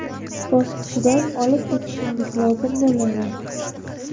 bosqichidan olib o‘tishingiz lozim bo‘ladi.